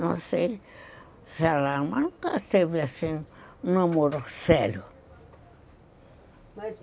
Não sei se ela... mas nunca teve assim um namoro sério.